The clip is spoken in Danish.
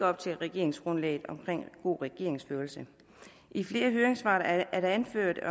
op til regeringsgrundlaget omkring god regeringsførelse i flere af høringssvarene er det anført